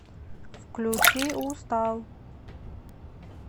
включи устал